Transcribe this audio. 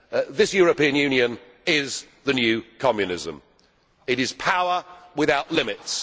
This European Union is the new communism it is power without limits.